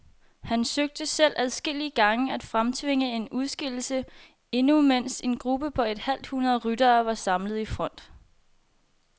Han søgte selv adskillige gange at fremtvinge en udskillelse, endnu mens en gruppe på et halvt hundrede ryttere var samlet i front.